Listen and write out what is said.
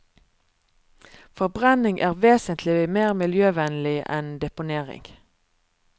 Forbrenning er vesentlig mer miljøvennlig enn deponering.